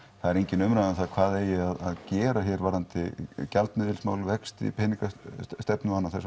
það er engin umræða um hvað eigi að gera hér varðandi gjaldmiðilsmál vexti peningastefnu og annað þess